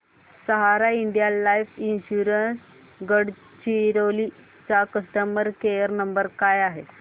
सहारा India life insurance Gadchiroli चा customer care number काय आहे